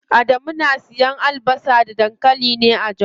Adamu yana siyan albasa da dankali ne a jos.